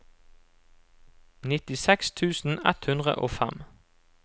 nittiseks tusen ett hundre og fem